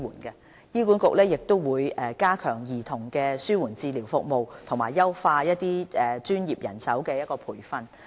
醫管局也會加強針對兒童的紓緩治療服務，以及優化專業人手的培訓。